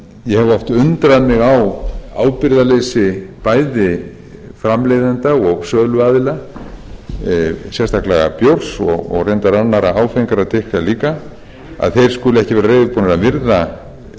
ég hef oft undrað mig á ábyrgðarleysi bæði framleiðenda og söluaðila sérstaklega bjórs og reyndar annarra áfengra drykkja líka að þeir skuli